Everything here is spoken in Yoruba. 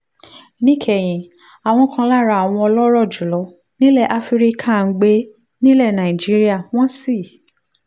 níkẹyìn àwọn kan lára àwọn ọlọ́rọ̀ jù lọ nílẹ̀ áfíríkà ń gbé nílẹ̀ nàìjíríà wọ́n sì